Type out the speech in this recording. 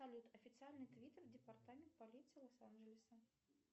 салют официальный твит департамент полиции лос анджелеса